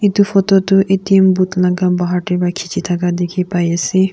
itu photo tu atm booth laga bahar teh wa kichi thaka dikhipai ase.